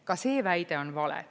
Ka see väide on vale.